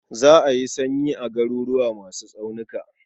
Za a yi sanyi a garuruwa masu tsaunuka.